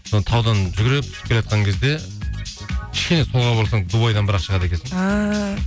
сол таудан жүгіріп түсіп келеатқан кезде кішкене солға бұрылсаң дубайдан бірақ шығады екенсің ааа